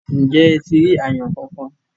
ǹjẹ́ ẹ ti rí àyàn kankan?